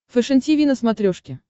фэшен тиви на смотрешке